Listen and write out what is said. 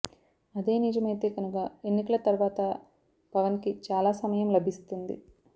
అదే నిజమయితే కనుక ఎన్నికల తర్వాత పవన్కి చాలా సమయం లభిస్తుంది